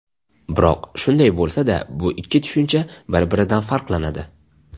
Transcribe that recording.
Biroq shunday bo‘lsada, bu ikki tushuncha bir-biridan farqlanadi.